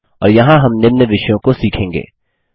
और यहाँ हम निम्न विषयों को सीखेंगे 4